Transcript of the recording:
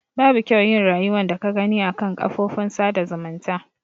Babu kyau yin rayuwan da ka Gani a kan kafofin sada zumunta.